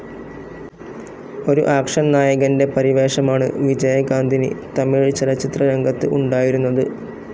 ഒരു ആക്ഷൻ നായകൻ്റെ പരിവേഷമാണ് വിജയകാന്തിന് തമിഴ് ചലച്ചിത്രരംഗത്ത് ഉണ്ടായിരുന്നത്.